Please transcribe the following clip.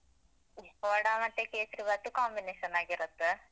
ವಡ ಮತ್ತೆ ಕೇಸ್ರಿ ಬಾತು combination ಆಗಿರತ್ತೆ.